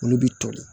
Olu bɛ toli